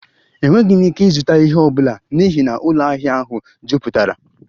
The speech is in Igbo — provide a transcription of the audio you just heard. Enweghị m ike ịzụta ihe ọ bụla n'ihi na ụlọ ahịa ahụ jupụtara